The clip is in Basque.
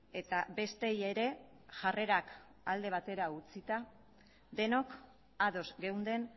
eta bestei ere jarrerak alde batera utzita denok ados geunden